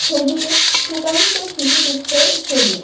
ছবিতে সুকান্ত শিশু তীর্থের ছবি.